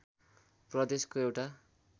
प्रदेशको एउटा